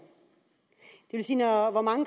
hvor mange